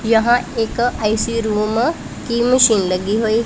यहां एक AC room की मशीन लगी हुई --